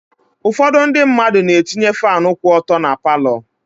Ụfọdụ ndị mmadụ na-etinye faanụ kwụ ọtọ na paalọ.